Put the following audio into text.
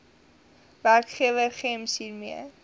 werkgewer gems hiermee